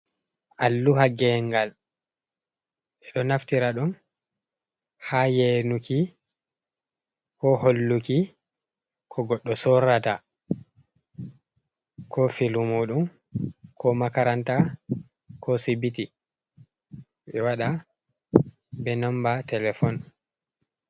Alluha geengal. Ɓe ɗo naftira ɗum haa yeenuki koo holluki ko goɗɗo sorrata koo filu muuɗum koo makaranta koo sibiti, ɓe waɗa bee nommba telefon.